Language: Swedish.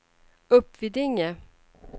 Uppvidinge